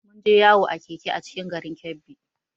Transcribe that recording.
Mun je yawo a Keke a cikin garin Kebbi